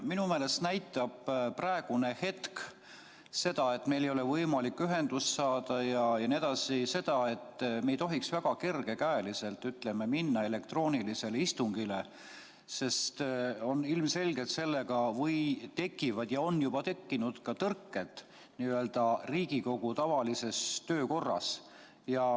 Minu meelest näitab praegune hetk, kui meil ei ole võimalik ühendust saada, seda, et me ei tohiks väga kergekäeliselt minna elektroonilisele istungile, sest ilmselgelt sellega tekivad ja on juba tekkinud tõrked Riigikogu tavalises töökorras.